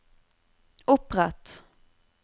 opprett